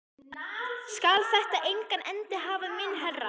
Skal þetta engan endi hafa minn herra?